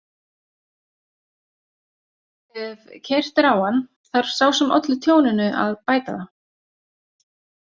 Ef keyrt er á hann þarf sá sem olli tjóninu að bæta það.